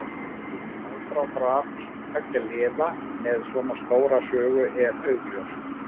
Aðdráttarafl tveggja liða með svona stóra sögu er augljóst.